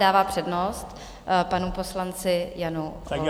Dává přednost panu poslanci Janu Volnému.